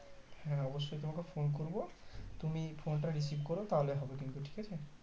হ্যাঁ অবশই তোমাকে Phone করবো তুমি Phone টা receive করো তাহলে হবে কিন্তু ঠিক আছে